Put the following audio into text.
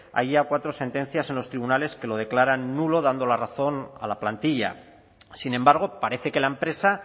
hay ya cuatro sentencias en los tribunales que lo declaran nulo dando la razón a la plantilla sin embargo parece que la empresa